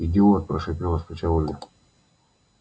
идиот прошипела с плеча ольга